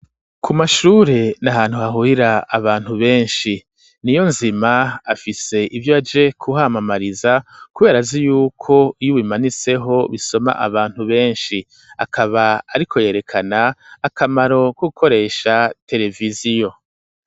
Ku mashure ni ahantu hahurira abantu benshi, Niyonzima afise ivyo aje kuhamamariza kubera azi yuko iy'ubimanitseho bisoma abantu benshi, akaba ariko yerekana akamaro ko gukoresha tereviziyo.